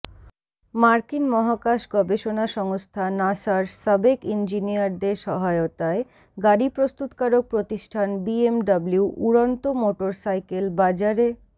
মার্কিন মহাকাশ গবেষণা সংস্থা নাসার সাবেক ইঞ্জিনিয়ারদের সহায়তায় গাড়ি প্রস্তুতকারক প্রতিষ্ঠান বিএমডব্লিউ উড়ন্ত মোটরসাইকেল বাজারে